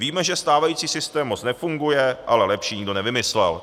Víme, že stávající systém moc nefunguje, ale lepší nikdo nevymyslel."